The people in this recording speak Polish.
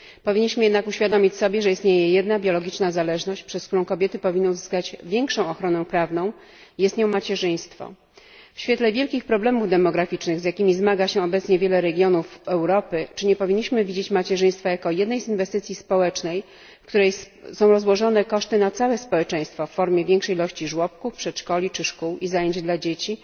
Powinniśmy jednak uświadomić sobie, że istnieje jedna biologiczna zależność, przez którą kobiety powinny uzyskać większą ochronę prawną jest nią macierzyństwo. W świetle wielkich problemów demograficznych, z jakimi zmaga się obecnie wiele regionów Europy, czy nie powinniśmy widzieć macierzyństwa jako jednej z inwestycji społecznych, której koszty są rozłożone na całe społeczeństwo, w formie większej ilości żłobków, przedszkoli czy szkół i zajęć dla dzieci